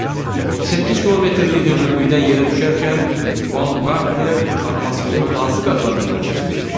A. 38 kilometrlik hündürlükdən yerə düşərkən Baumqartner atmosferin hansı qatlarından keçmişdir?